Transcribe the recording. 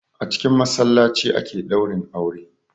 A cikin massalaci ake daurin aure.